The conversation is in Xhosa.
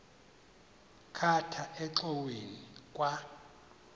khatha engxoweni kwa